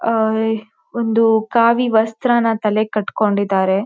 ಆಹ್ ಒಂದು ಕಾವಿ ವಸ್ತ್ರನ ತಲೆಗೆ ಕಟ್ ಕೊಂಡು ಇದ್ದಾರೆ.